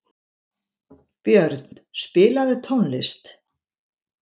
Björn, spilaðu tónlist.